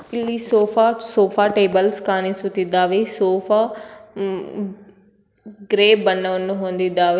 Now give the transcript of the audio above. ಇಲ್ಲಿ sofa sofa tables ಕಾಣಿಸುತ್ತಿದ್ದಾವೆ sofa ಮ್ಮ್ ಗ್ರೇ ಬಣ್ಣವನ್ನು ಹೊಂದಿದ್ದಾವೆ.